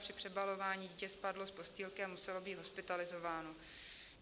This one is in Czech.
Při přebalování dítě spadlo z postýlky a muselo být hospitalizováno.